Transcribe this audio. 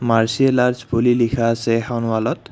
Martial arts বুলি লিখা আছে এখন ৱালত।